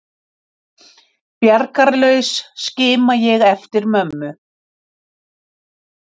Bjargarlaus skima ég eftir mömmu.